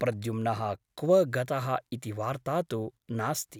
प्रद्युम्नः क्व गतः इति वार्ता तु नास्ति ।